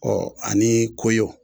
ani koyɔ